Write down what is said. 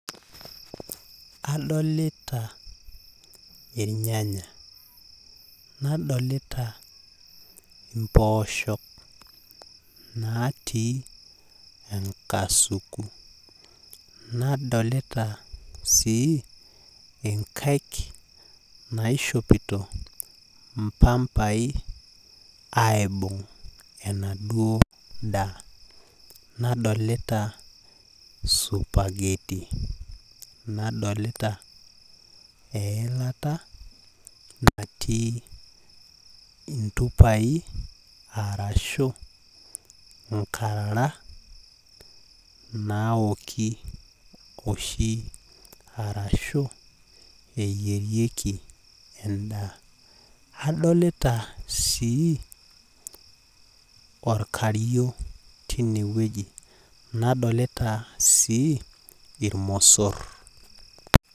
Adolita irnyanya. Nadolita impoosho natii enkasuku. Nadolita si, inkaik naishopito impampai, aibung'ita enaduo daa. Nadolita supergetti. Nadolita eilata natii intupai arashu inkarara naoki oshi, arashu eyierieki endaa. Adolita sii, orkario tinewueji. Nadolita si, irmosor.